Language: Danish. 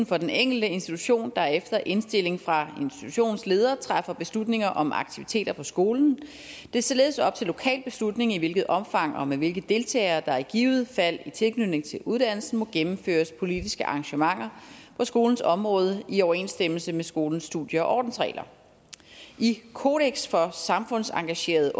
for den enkelte institution der efter indstilling fra institutionsleder træffer beslutninger om aktiviteter på skolen det er således op til lokal beslutning i hvilket omfang og med hvilke deltagere der i givet fald i tilknytning til uddannelsen må gennemføres politiske arrangementer på skolens område i overensstemmelse med skolens studie og ordensregler i kodeks for samfundsengagerede